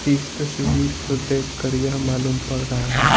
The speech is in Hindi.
इस तस्वीर को देखकर यह मालूम पड़ रहा है--